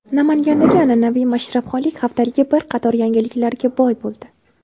Namangandagi an’anaviy Mashrabxonlik haftaligi bir qator yangiliklarga boy bo‘ldi.